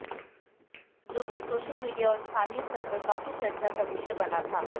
जोकि social media और स्थानीय स्तर पर काफी चर्चा का विषय बना था